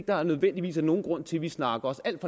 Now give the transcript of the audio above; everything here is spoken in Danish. der nødvendigvis er nogen grund til at vi snakker os alt